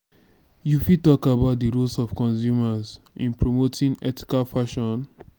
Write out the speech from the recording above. you fit talk about di role of consumers in promoting ethical fashon.